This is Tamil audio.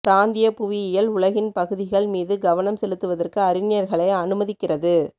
பிராந்திய புவியியல் உலகின் பகுதிகள் மீது கவனம் செலுத்துவதற்கு அறிஞர்களை அனுமதிக்கிறது